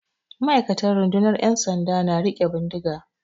Ma'aikatan rundunar 'yan sanda na riƙe bindiga.